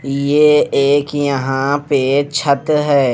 ये एक यहां पे छत है।